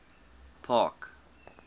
park